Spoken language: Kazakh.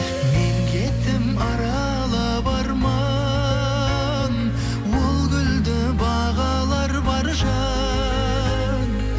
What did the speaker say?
мен кеттім аралап арман ол гүлді бағалар бар жан